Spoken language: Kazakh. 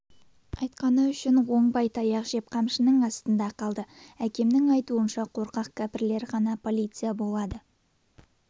айтқаны үшін оңбай таяқ жеп қамшының астында қалды әкемнің айтуынша қорқақ кәпірлер ғана полиция болады